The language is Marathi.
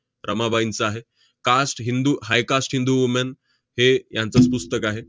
रमाबाईंचं आहे. cast हिंदू high cast हिंदू woman हे यांचंच पुस्तक आहे.